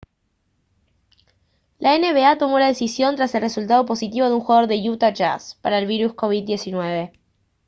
la nba tomó la decisión tras el resultado positivo de un jugador de utah jazz para el virus covid-19